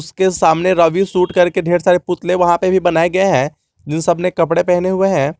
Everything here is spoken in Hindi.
के सामने रवि शूट करके ढेर सारे पुतले वहां पे भी बनाए गए हैं जिन सब ने कपड़े पहने हुए हैं।